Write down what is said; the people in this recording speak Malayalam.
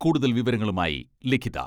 കൂടുതൽ വിവരങ്ങളുമായി ലിഖിത........